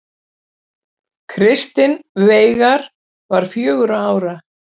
Kristinn Veigar var fjögurra ára.